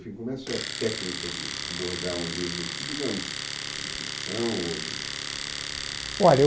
Como é a sua técnica de abordar um livro, digamos, de ficção ou? olha